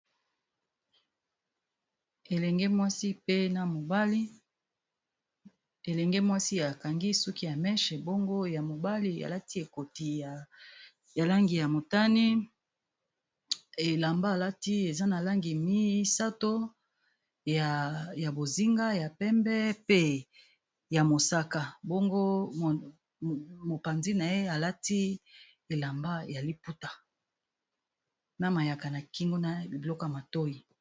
Awa namoni balakisi biso elenge mwasi akangi suki ya meshe mbango ya mobali alati ekoti ya langi ya motani elamba alati eza na langi misato ya bozinga ya pembe pe ya mosaka mbango mopanzi na ye alati elamba ya liputa na mayaka na kingo na biloko ya matoi